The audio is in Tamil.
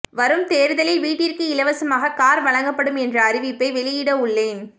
வரும் தேர்தலில் வீட்டிற்கு இலவசமாக கார் வழங்கப்படும் என்ற அறிவிப்பை வெளியிடவுள்ளேன்